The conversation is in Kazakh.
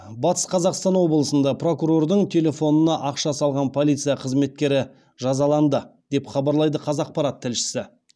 батыс қазақстан облысында прокурордың телефонына ақша салған полиция қызметкері жазаланды деп хабарлайды қазақпарат тілшісі